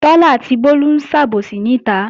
Títí àti Bólú ń sàbòsí níta